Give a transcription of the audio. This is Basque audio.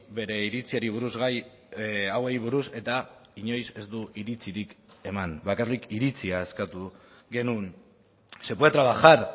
bere iritziari buruz gai hauei buruz eta inoiz ez du iritzirik eman bakarrik iritzia eskatu genuen se puede trabajar